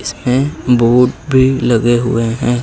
इसमें बोर्ड भी लगे हुएं हैं।